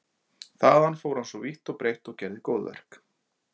Þaðan fór hann svo vítt og breitt og gerði góðverk.